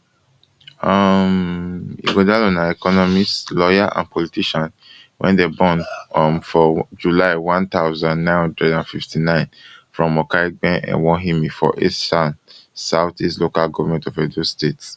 um ighodalo na economist lawyer and politician wey dem born um for july one thousand, nine hundred and fifty-nine from okaigben ewohimi for esan south east local govment of edo state